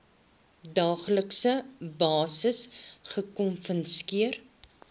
daaglikse basis gekonfronteer